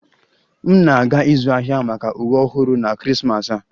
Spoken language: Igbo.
M na-aga ịzụ ahịa maka uwe ọhụrụ na Krismas a